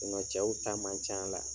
cɛw ta man can la.